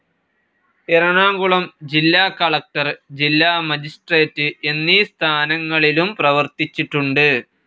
എറണാകുളം ജില്ലാകളക്ടർ, ജില്ലാ മജിസ്ട്രേറ്റ്‌ എന്നീ സ്ഥാനങ്ങളിലും പ്രവർത്തിച്ചിട്ടുണ്ട്.